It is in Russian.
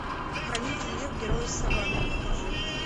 хранитель лев герои саванны покажи